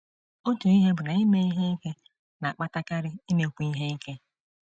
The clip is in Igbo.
Otu ihe bụ na ime ihe ike na - akpatakarị imekwu ihe ike.